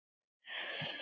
Segir hann það?